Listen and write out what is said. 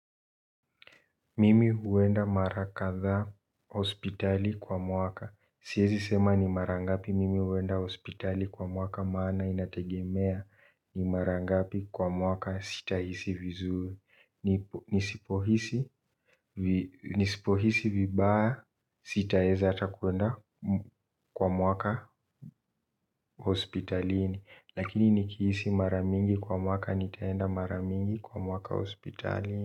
Mimi uwenda marakatha hospitali kwa mwaka. Siyezi sema ni marangapi mimi uwenda hospitali kwa mwaka maana inategemea. Ni marangapi kwa mwaka sitahisi vizuri. Nisipohisi vibaa sitaeza atakuenda kwa mwaka hospitalini. Lakini nikihisi maramingi kwa mwaka nitaenda maramingi kwa mwaka hospitalini.